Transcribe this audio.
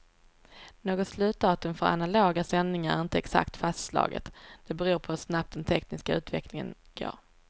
Något slutdatum för analoga sändningar är inte exakt fastslaget, det beror på hur snabbt den tekniska utvecklingen går.